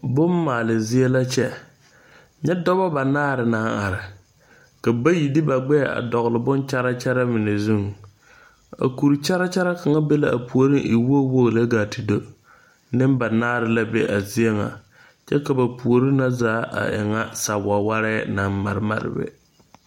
Boŋ maale zie la kyɛ. Nyɛ dɔbɔ banaare naŋ are. Ka bayi de ba gbɛɛ dogle boŋ kyara kyara mene zuŋ. A kur kyara kara kanga be la a pooreŋa e woge woge lɛ gaa te do. Nebanaare a be a zie ŋa. Kyɛ ka ba poore na zaa a e ŋa sawawarɛ na mare mare be.